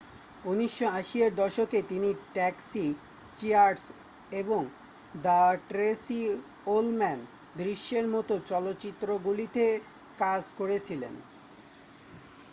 1980 এর দশকে তিনি ট্যাক্সি চিয়ার্স এবং দ্য ট্রেসি ওলম্যান দৃশ্যের মতো চলচ্চিত্রগুলিতে কাজ করেছিলেন